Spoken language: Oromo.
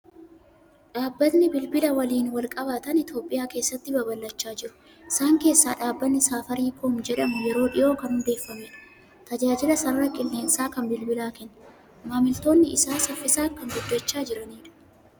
Dhaabbatni bilbila waliin wal qabatan Itoophiyaa keessatti babal'achaa jiru. Isaan keessaa dhaabbatni Safaarikoom jedhamu yeroo dhiyoo kan hundeeffamedha; tajaajila sarara qilleensaa kan bilbilaa kenna. Maamiltoonni isaa saffisaan kan guddachaa jiranidha.